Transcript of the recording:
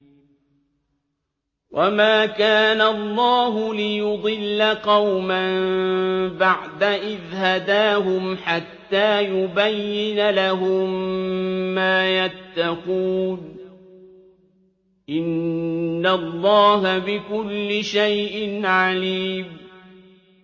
وَمَا كَانَ اللَّهُ لِيُضِلَّ قَوْمًا بَعْدَ إِذْ هَدَاهُمْ حَتَّىٰ يُبَيِّنَ لَهُم مَّا يَتَّقُونَ ۚ إِنَّ اللَّهَ بِكُلِّ شَيْءٍ عَلِيمٌ